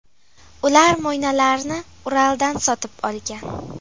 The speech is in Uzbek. Ular mo‘ynalarni Uraldan sotib olgan.